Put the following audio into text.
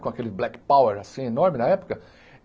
Com aquele black power, assim, enorme, na época.